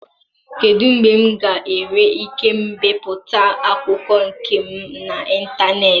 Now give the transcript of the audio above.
Kedu mgbe m ga-enwe ike ibipụta akwụkwọ nke m n'ịntanetị?